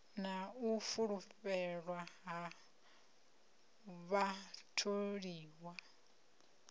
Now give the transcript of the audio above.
na u fulufhelwa ha vhatholiwa